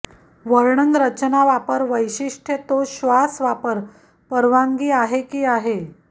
वर्णन रचना वापर वैशिष्ठ्य तो श्वास वापर परवानगी आहे की आहे